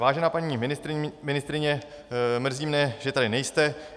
Vážená paní ministryně, mrzí mě, že tady nejste.